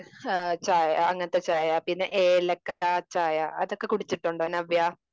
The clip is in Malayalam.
ചായ അങ്ങനത്തെ ചായ ഏലക്ക ചായ അതൊക്കെ കൂടിച്ചിട്ടുണ്ടോ നവ്യ?